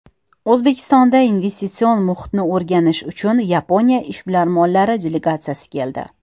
O‘zbekistonga investitsion muhitni o‘rganish uchun Yaponiya ishbilarmonlari delegatsiyasi keldi.